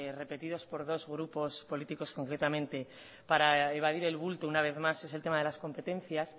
repetidos por dos grupos políticos concretamente para evadir el bulto una vez más es el tema de las competencias